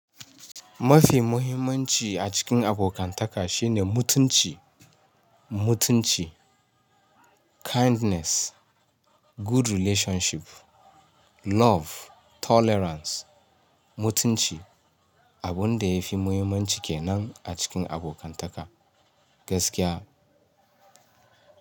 Mafi muhimmanci a cikin abokantaka shine mutunci, mutunci, kindness, good relationship, love, tolerance, mutunci. Abun da ya fi muhimmanci kenan a cikin abokantaka gaskiya.